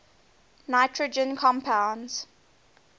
nitrogen compounds